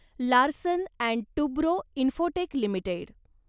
Larsen and Toubro Infotech limited